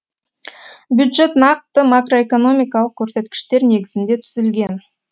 бюджет нақты макроэкономикалық көрсеткіштер негізінде түзілген